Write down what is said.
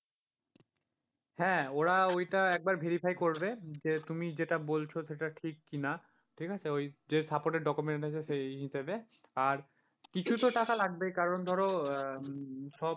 হ্যাঁ ওরা ওইটা একবার verify করবে যে তুমি যেটা বলছো সেটা ঠিক কিনা, ঠিক আছে ওই যে supported document এনেছে সেই হিসাবে, আর কিছুতো টাকা লাগবেই, কারণ ধরো সব,